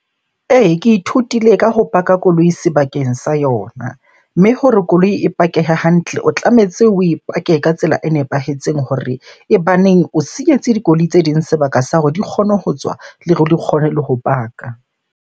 Ee, ke ithutile ka ho park-a koloi sebakeng sa yona. Mme hore koloi e pakehe hantle, o tlametse oe park-e ka tsela e nepahetseng hore e baneng o siyetse dikoloi tse ding sebaka sa hore di kgone ho tswa, le hore di kgone le ho park-a.